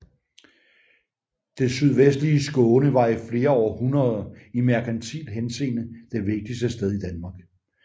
Det sydvestligste Skåne var i flere århundreder i merkantil henseende det vigtigste sted i Danmark